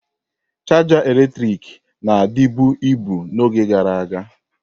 Chaja eletrik na-adịbu ibu n'oge gara aga.